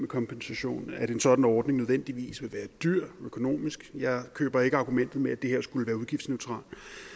kompensation og at en sådan ordning nødvendigvis vil være dyr økonomisk jeg køber ikke argumentet med at det her skulle være udgiftsneutralt